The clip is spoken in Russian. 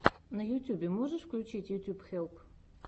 на ютьюбе можешь включить ютьюб хелп